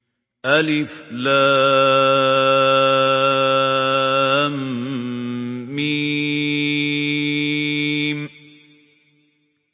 الم